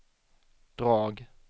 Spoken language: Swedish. drag